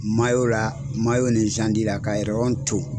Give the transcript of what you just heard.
la ni la ka to